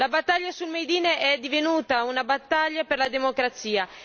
La battaglia sul made in è divenuta una battaglia per la democrazia.